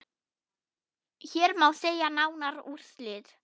Hér má sjá nánari úrslit.